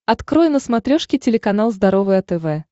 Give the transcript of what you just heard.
открой на смотрешке телеканал здоровое тв